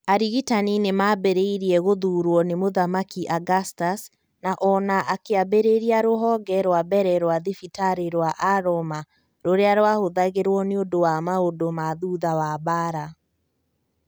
Arigitani nĩ maambĩrĩirie gũthurwo nĩ Mũthamaki Augustus na o na akĩambĩrĩria rũhonge rwa mbere rwa thibitarĩ rwa a roma rũrĩa rwahũthĩragũo nĩũndũ wa maũndũ ma thutha wa mbaara